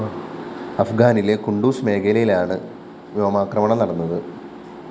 അഫ്ഗാനിലെ കുണ്ഡൂസ് മേഖലയിലാണ് വ്യോമാക്രമണം നടന്നത്